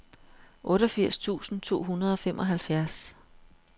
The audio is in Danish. otteogfirs tusind to hundrede og femoghalvfjerds